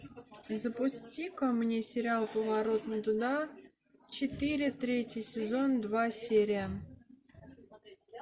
запусти ка мне сериал поворот не туда четыре третий сезон два серия